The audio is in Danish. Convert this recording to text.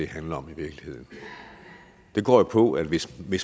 handler om går på at hvis vi